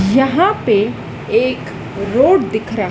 यहां पे एक रोड दिख रा--